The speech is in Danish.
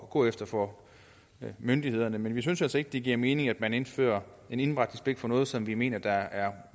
gå efter for myndighederne men vi synes altså ikke det giver mening at man indfører en indberetningspligt for noget som vi mener er